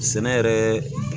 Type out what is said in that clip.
Sɛnɛ yɛrɛ